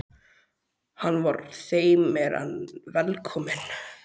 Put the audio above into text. Hann var þeim meir en velkominn.